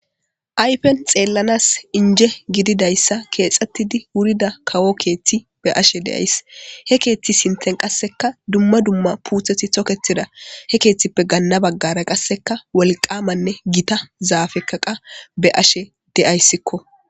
ayfen xeellanas inje gididayssa keexxettidi wurida kawo keethti be'ashe de7ays he keeththi sinten qasseka dumma dumma puutheti toketida he keeththippe ganna baggara qasseka wolqamanne gita zaafekaqa be ashe de7ayssikko